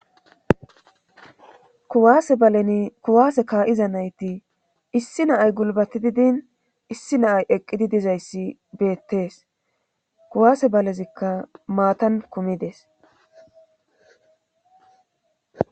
kuwaase balen kuwaase kaa7iza nayti issi naay gulbati din issi naay eqqidi dizayssi beettees kuwaase balezikka maatan kumides